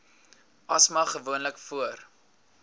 asma gewoonlik voor